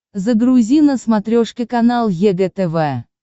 загрузи на смотрешке канал егэ тв